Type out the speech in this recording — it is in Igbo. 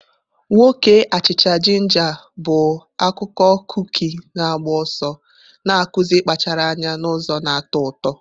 Nwoke achicha-jinja bụ akụkọ kuki na-agba ọsọ, na-akụzi ịkpachara anya n'ụzọ na-atọ ụtọ.